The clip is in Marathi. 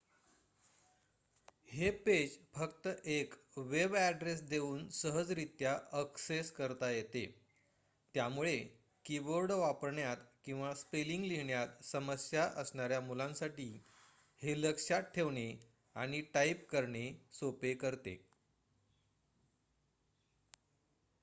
हे पेज फक्त एक वेबॲड्रेस देऊन सहजरीत्या ॲक्सेस करता येते त्यामुळे कीबोर्ड वापरण्यात किंवा स्पेलिंग लिहिण्यात समस्या असणाऱ्या मुलांसाठी हे लक्षात ठेवणे आणि टाईप करणे सोपे करते